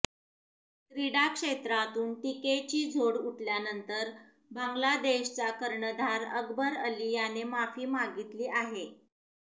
क्रीडा क्षेत्रातून टिकेची झोड उठल्यानंतर बांगलादेशचा कर्णधार अकबर अली याने माफी मागितली आहे